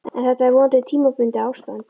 En þetta er vonandi tímabundið ástand.